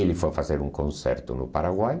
Ele foi fazer um concerto no Paraguai.